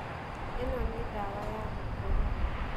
ĩno nĩ ndawa ya gũkorora.